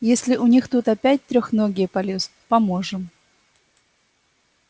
если у них тут опять трёхногие полезут поможем